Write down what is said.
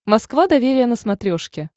москва доверие на смотрешке